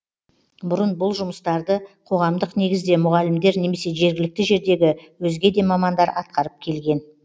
бұрын бұл жұмыстарды қоғамдық негізде мұғалімдер немесе жергілікті жердегі өзге де мамандар атқарып келген